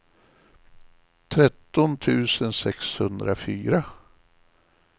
tretton tusen sexhundrafyra